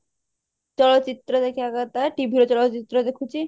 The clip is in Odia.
ଚଳଚିତ୍ର ଦେଖିବା କଥା TV ରେ ଚଳଚିତ୍ର ଦେଖୁଛି